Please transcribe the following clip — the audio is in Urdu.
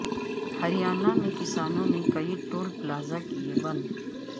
ہریانہ میں کسانوں نے کئی ٹول پلازہ کئے بند